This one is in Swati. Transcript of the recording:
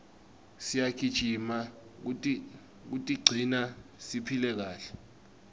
siyagijima kutigcina siphile kahle